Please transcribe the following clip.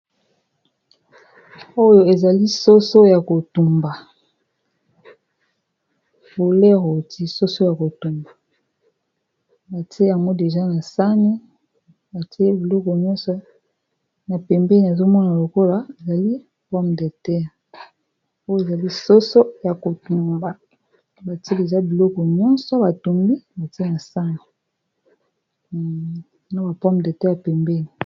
Oyo ezali soso ya kotumba pole roti soso ya kotumba btieymoiti biloko nyonso na pembeni azomona lokola elieyeali soso ya kotumba batil eza biloko ysoteasbapome de teya pembeni.